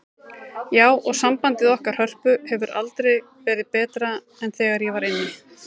Já, og sambandið okkar Hörpu hefur aldrei verið betra en þegar ég var inni.